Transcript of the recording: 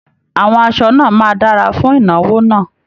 Àwọn aṣọ náà máa dára fún ìnáwó náà